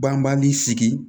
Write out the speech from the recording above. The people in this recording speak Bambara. Banbali sigi